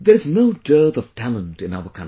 There is no dearth of talent in our country